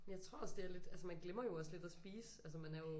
Men jeg tror også det er lidt altså man glemmer jo også lidt at spise altså man er jo